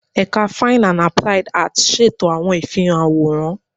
Ẹka Fine ati Applied Arts ṣeto awọn ifihan aworan